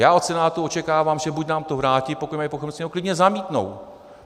Já od Senátu očekávám, že buď nám to vrátí, pokud mají pochybnosti, nebo klidně zamítnou.